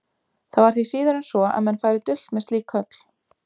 Það var því síður en svo, að menn færu dult með slík köll.